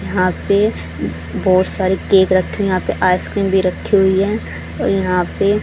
यहां पे बहुत सारे केक रखे हैं यहां पे आइसक्रीम भी रखी हुई हैं और यहां पे --